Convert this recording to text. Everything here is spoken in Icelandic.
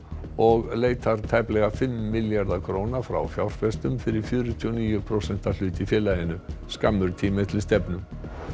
og leitar tæplega fimm milljarða króna frá fjárfestum fyrir fjörutíu og níu prósenta hlut í félaginu skammur tími er til stefnu